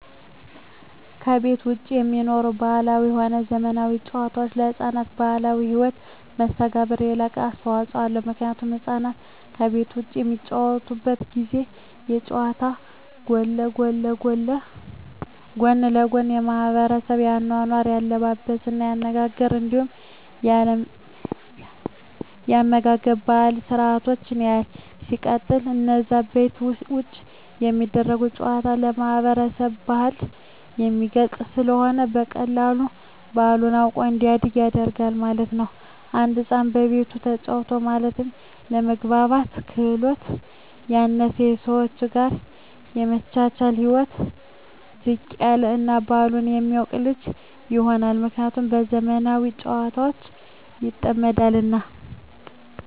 ከቤት ዉጪ የሚኖሩ ባህላዊም ሆነ ዘመናዊ ጨዋታወች ለሕፃናት ማህበራዊ ህይወት መስተጋብር የላቀ አስተዋጾ አለዉ ምክንያቱም ህፃናት ከቤት ዉጪ በሚጫወቱበት ጊዜ ከጨዋታዉ ጎን ለጎን የማሕበረሰቡን የአኗኗር፣ የአለባበስ፤ የአነጋገር እንዲሁም የአመጋገብ ባህላዊ ስርአቶችን ያያል። ሲቀጥል አነዛ ከቤት ዉጪ የሚደረጉ ጨዋታወች የማህበረሰብን ባህል የሚገልጽ ስለሆነ በቀላሉ ባህሉን አዉቆ እንዲያድግ ያግዘዋል ማለት ነዉ። አንድ ህፃን ከቤቱ ተጫወተ ማለት የመግባባት ክህሎቱ ያነሰ፣ ከሰወች ጋር የመቻቻል ህይወቱ ዝቅ ያለ እና ባህሉን የማያቅ ልጅ ይሆናል። ምክንያቱም በዘመናዊ ጨዋታወች ይጠመዳልና።